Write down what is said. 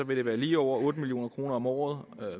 vil være lige over otte million kroner om året